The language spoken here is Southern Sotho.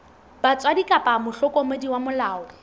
batswadi kapa mohlokomedi wa molao